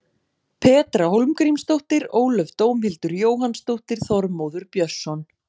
Petra Hólmgrímsdóttir Ólöf Dómhildur Jóhannsdóttir Þormóður Björnsson